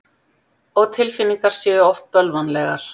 Og tilfinningar séu oft bölvanlegar.